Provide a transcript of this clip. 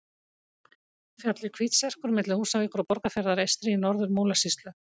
Fjallið Hvítserkur milli Húsavíkur og Borgarfjarðar eystri í Norður-Múlasýslu.